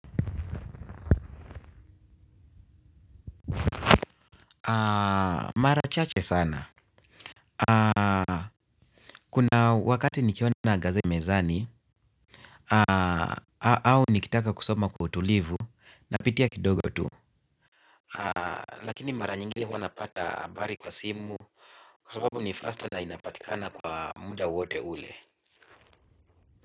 Mara chache sana. Kuna wakati nikiona gazeti ya mezani au nikitaka kusoma kwa utulivu napitia kidogo tu. Lakini mara nyingine huwa napata habari kwa simu, kwa sababu ni faster na inapatikana kwa muda wote ule.